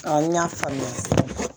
n y'a faamuya